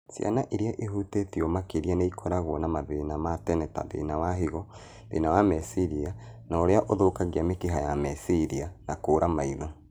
Ciana irĩa ihutĩtio makĩria nĩikoragwo na mathina ma tene ta thĩna wa higo, thĩna wa meciria na ũrĩa ũthũkagia mĩkiha ya meciria, na kũra maitho